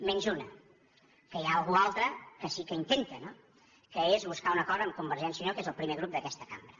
menys una que hi ha algú altre que sí que intenta no que és buscar un acord amb convergència i unió que és el primer grup d’aquesta cambra